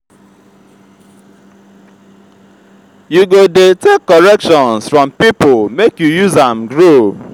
you go dey take corrections from pipo make you use am grow.